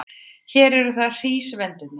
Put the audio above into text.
Hér eru það hrísvendirnir.